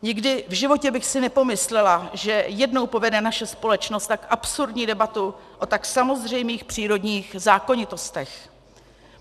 Nikdy v životě bych si nepomyslela, že jednou povede naše společnost tak absurdní debatu o tak samozřejmých přírodních zákonitostech.